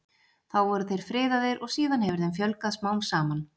þá voru þeir friðaðir og síðan hefur þeim fjölgað smám saman